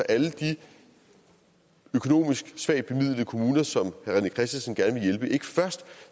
alle de økonomisk svagt bemidlede kommuner som herre rené christensen gerne vil hjælpe ikke først